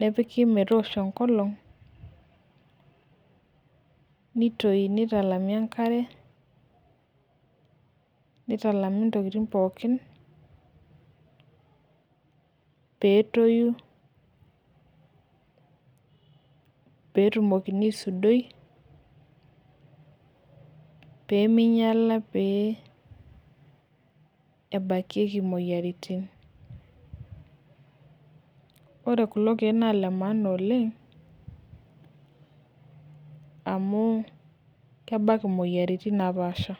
nepiki metoosho enkolong'.nitoi nitalami enkare, nitalami ntokitin pookin peetoni, peetumokini aisuduoi pee ningiala pee ebakieki imoyiaritin. ore kulo keek naa Ile maana oleng, amu, kebak imoyiaritin napaasha.